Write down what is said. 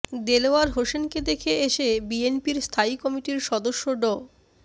দেলোয়ার হোসেনকে দেখে এসে বিএনপির স্থায়ী কমিটির সদস্য ড